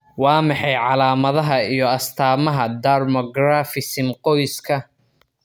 Waa maxay calaamadaha iyo astaamaha dermographism qoyska?